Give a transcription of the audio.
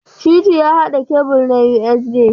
Shitu ya haɗa kebul na USB.